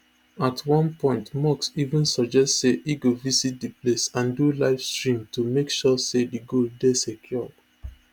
at one point musk even suggest say e go visit di place and do livestream to make sure say di gold dey secured